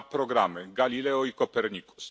dwa programy Galileo i Copernicus.